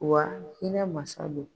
Wa hinɛ masa don.